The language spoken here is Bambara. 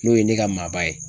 N'o ye ne ka maaba ye.